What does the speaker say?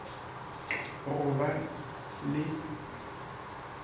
k go ka ba le